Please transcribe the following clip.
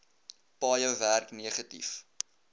paaie werk negatief